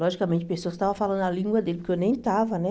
Logicamente, pessoas estavam falando a língua dele, porque eu nem estava, né?